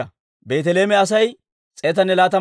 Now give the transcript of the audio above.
Mikimaasa katamaa Asay 122.